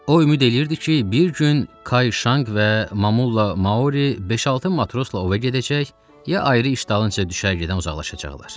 O ümid eləyirdi ki, bir gün Kayşanq və Mamulla Maori beş-altı matrosla ova gedəcək, ya ayrı iş dalınca düşər gedən uzaqlaşacaqlar.